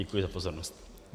Děkuji za pozornost.